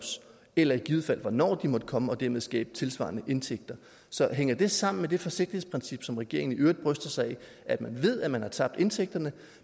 eller i givet fald hvornår de måtte komme og dermed skabe tilsvarende indtægter så hænger det sammen med det forsigtighedsprincip som regeringen i øvrigt bryster sig af man ved at man har tabt indtægterne